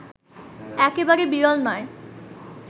একেবারে বিরল নয়